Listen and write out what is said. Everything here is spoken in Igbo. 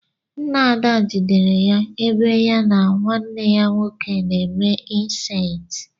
Ńnà Ada jidere ya ebe ya na nwanne ya nwoke na eme incesti.